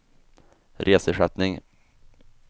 reseersättning